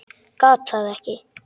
Gat það ekki.